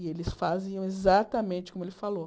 E eles faziam exatamente como ele falou.